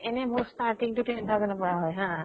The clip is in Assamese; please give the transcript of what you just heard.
এনে মোৰ starting টো ten thousand ৰ পৰা হয় হা